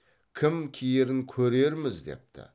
кім киерін көрерміз депті